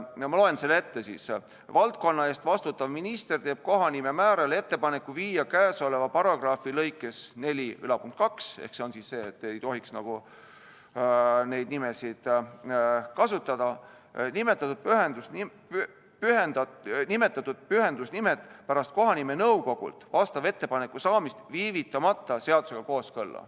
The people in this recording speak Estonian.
Ma loen selle ette: "Valdkonna eest vastutav minister teeb kohanimemäärajale ettepaneku viia käesoleva paragrahvi lõikes 42 nimetatud pühendusnimed pärast kohanimenõukogult vastava ettepaneku saamist viivitamata seadusega kooskõlla.